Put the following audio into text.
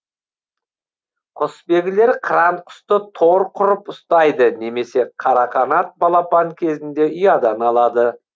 құсбегілер қыран құсты тор құрып ұстайды немесе қарақанат балапан кезінде ұядан алады